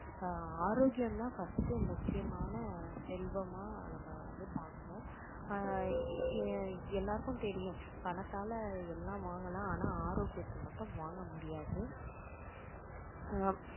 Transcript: அஹ் ஆரோக்கியம் தான் first முக்கியமான செல்வமா நம்ம வந்து பாக்கணும் அஹ் எல்லாருக்கும் தெரியும் பணத்தால எல்லாம் வாங்கலாம் ஆனால் ஆரோக்கியத்தை மட்டும் வாங்க முடியாது ஆஹ்